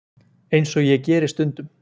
Eins og ég geri stundum.